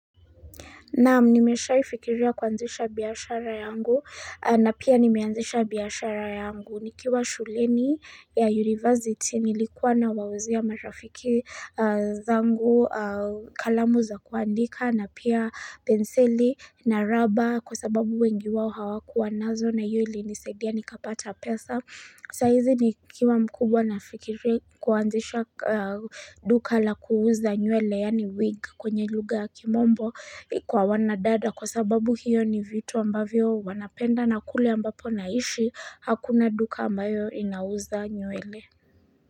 Na nimeshaifikiria kuanzisha biashara yangu na pia nimeanzisha biashara yangu nikiwa shuleni ya university nilikuwa na wauzia marafiki zangu kalamu za kuandika na pia penseli na raba kwa sababu wengi wao hawakuwa nazo na iyo ilinisaidia nikapata pesa. Sa hizi ni kiwa mkubwa nafikiri kuanzisha duka la kuuza nywele yani wig kwenye lugha ya kimombo kwa wanadada kwa sababu hiyo ni vitu ambavyo wanapenda na kule ambapo naishi hakuna duka ambayo inauza nywele.